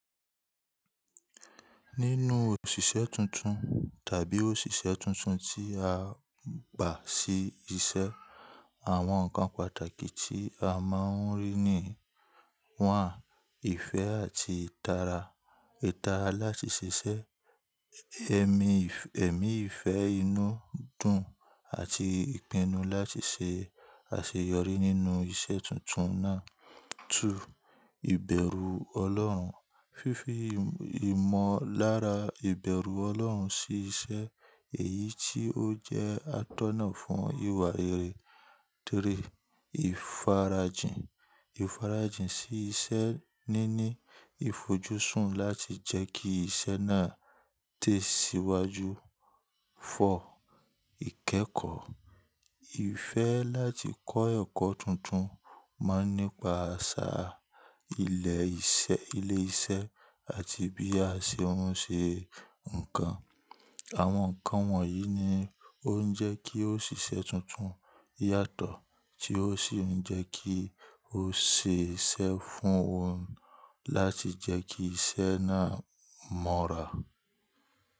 Nínú òṣìṣẹ́ tuntun tàbí òṣìṣẹ́ tuntun tí a gbà sí iṣẹ́, àwọn ǹkan pàtàkì tí a máa ń rí ni: ìfẹ́ àti ìtara, ìtara láti ṣiṣẹ́, ẹ̀mí ìfẹ́ inú dùn àti ìpinnu láti ṣe àṣeyọrí nínú iṣẹ́ tuntun náà. Ìbẹ̀rù Ọlọ́run, fífi ìmọ̀lára ìbẹ̀rù Ọlọ́run sí iṣẹ́ èyí tí ó jẹ́ atọ́nà fún ìwà rere. Ìfarajìn, ìfarajìn sí iṣẹ́ níní ìfojúsùn láti jẹ́ kí iṣẹ́ náà tẹ̀síwájú. Ìkẹ́kọ̀ọ́, ìfẹ́ láti kọ́ ẹ̀kọ́ tuntun máa ń nípa àṣà, ilẹ̀ ìṣe, ilé iṣẹ́ àti bí a ṣe ń ṣe ǹkan. Àwọn ǹkan wọ̀nyí ni ó ń jẹ́ kí òṣìṣẹ́ tuntun yàtọ̀ tí ó sì ń jẹ́ kí ó ṣe iṣẹ́ fún òun láti jẹ́ kí iṣẹ́ náà mọ́ra.